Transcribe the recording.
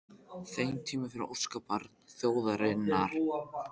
þeim tíma fyrir óskabarn þjóðarinnar?